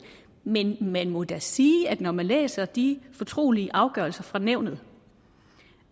men man må da sige når man læser de fortrolige afgørelser fra nævnet